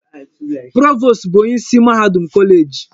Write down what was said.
Provost bụ onyeisi mahadum kọleeji.